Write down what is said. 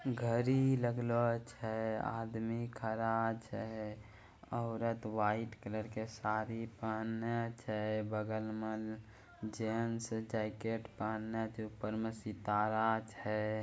घरी लग्लो छै। आदमी खड़ा छै । औरत व्हाइट कलर के साड़ी पहने छै। बगल म जेंट्स जैकेट पहने छै। ऊपर म सितारा छै।